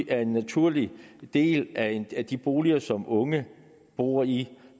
er en naturlig del af de boliger som unge bor i